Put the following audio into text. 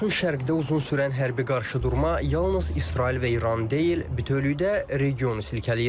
Yaxın şərqdə uzun sürən hərbi qarşıdurma yalnız İsrail və İranı deyil, bütövlükdə regionu silkələyir.